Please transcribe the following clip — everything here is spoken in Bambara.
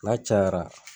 N'a cayara